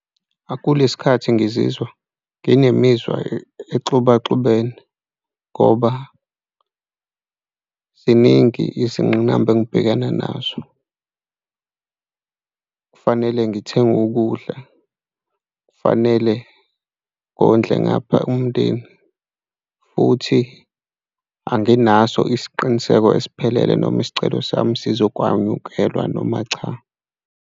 Kule sikhathi ngizizwa nginemizi exubaxubene ngoba ziningi izingqinamba engibhekana nazo. Kufanele ngithenge ukudla, kufanele ngondle ngapha umndeni futhi anginaso isiqiniseko esiphelele noma isicelo sami sizokwanyukelwa noma cha.